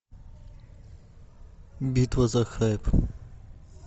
битва за хайп